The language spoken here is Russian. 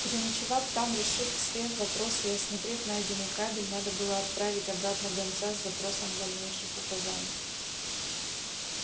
переночевав там решив все вопросы и осмотрев найденный кабель надо было отправить обратно гонца с запросом дальнейших указаний